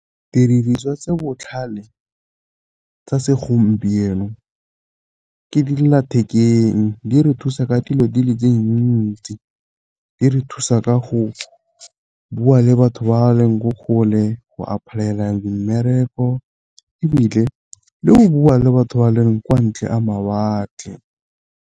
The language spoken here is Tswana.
Didiriswa tse botlhale tsa segompieno ke dillathekeng di re thusa ka dilo di le di ntsi. Di re thusa ka go bua le batho ba leng ko kgole, go apply-ela mmereko, ebile le go bua le batho ba le kwa ntle a mawatle.